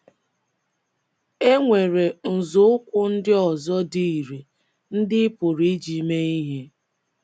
E nwere nzọụkwụ ndị ọzọ dị ire ndị ị pụrụ iji mee ihe.